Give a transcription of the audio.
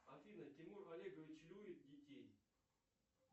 афина тимур олегович любит детей